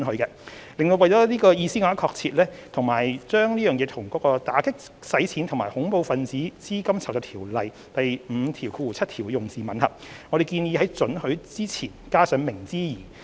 為令這個意思更為確切，以及為與《打擊洗錢及恐怖分子資金籌集條例》第57條的用字吻合，我們動議在"准許"之前加上"明知而"。